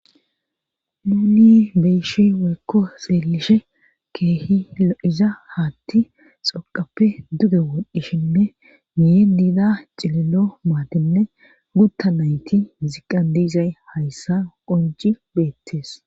Nuni beyishi weekko seelishe keehi lo7iza haatti xoqappe duge wodhdhishinne niye diida cililo maatenne gutta nayti ziqqan diizay hayssa qonci beettes.